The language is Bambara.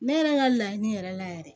Ne yɛrɛ ka laɲini yɛrɛ la yɛrɛ